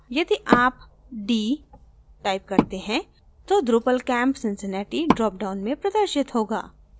यदि आप d करते हैं तो drupal camp cincinnati dropdown में प्रदर्शित होगा